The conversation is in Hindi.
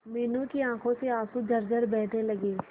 मीनू की आंखों से आंसू झरझर बहने लगे